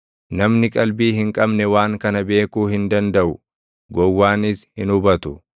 Namni qalbii hin qabne waan kana beekuu hin dandaʼu; gowwaanis hin hubatu;